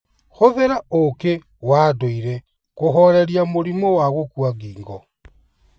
Hũthĩra ũũkĩ wa ndũire kũhooreria mũrimũ wa gũkua ngingo.